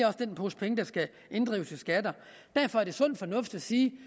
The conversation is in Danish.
er den pose penge der skal inddrives i skatter derfor er det sund fornuft at sige